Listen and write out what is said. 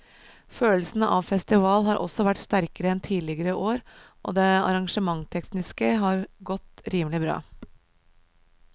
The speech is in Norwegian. Følelsen av festival har også vært sterkere enn tidligere år og det arrangementstekniske har godt rimelig bra.